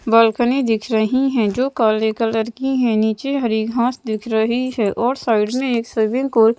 balcony दिख रही हैं जो काले कलर की हैं नीचे हरी घास दिख रही है और साइड में एक स्विमिंग को --